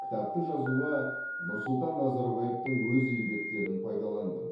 кітапты жазуға нұрсұлтан назарбаевтың өз еңбектерін пайдаландым